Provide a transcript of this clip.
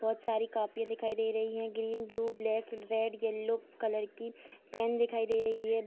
बहुत सारी कॉपी दिखाई दे रही है green blue black red yellow colour की पेन भी दिखाई दे रही है।